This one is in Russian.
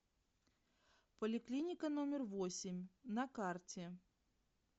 поликлиника номер восемь на карте